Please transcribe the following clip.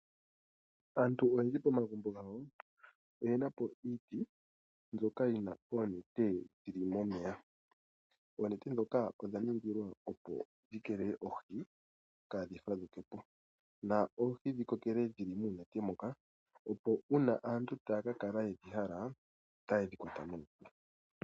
Aantu oyendji pomagumbo gawo oye na po iiti mbyoka yi na oonete dhi li momeya. Oonete ndhoka odha ningila, opo dhi keelele oohi kaadhi fadhuke po na oohi dhi kokele dhi li moonete mokac, opo aantu sho taa ka kala ye dhi hala otaye dhi kwata moonete.